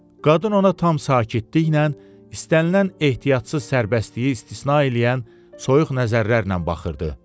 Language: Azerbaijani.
Qadın ona tam sakitliklə istənilən ehtiyatsız sərbəstliyi istisna eləyən soyuq nəzərlərlə baxırdı.